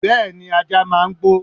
Bẹẹni ajá máa ń gbó.